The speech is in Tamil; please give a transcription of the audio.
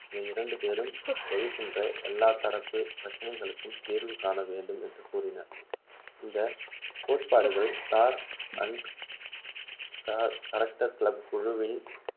இந்த இரண்டுபேரும் எழுகின்ற எல்லா தரப்பு பிரச்சினைகளுக்கும் தீர்வு காண வேண்டும் என்று கூறின இந்த கோட்பாடுகள் star and garter club குழுவின்